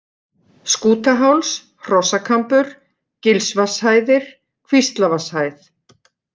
Skútaháls, Hrossakambur, Gilsvatnshæðir, Kvíslavatnshæð